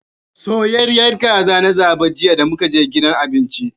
Soyayyiyar kaza na zaba jiya damukaje gidan abinci.